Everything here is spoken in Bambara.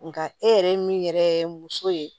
Nga e yɛrɛ min yɛrɛ ye muso ye